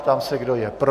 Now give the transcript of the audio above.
Ptám se, kdo je pro.